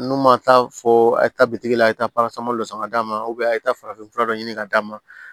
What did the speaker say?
N'u ma taa fɔ a ye taa bitigi la a ye taa dɔ san ka d'a ma a ye farafinfura dɔ ɲini ka d'a ma